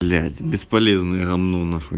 блять бесполезное гамно нахуй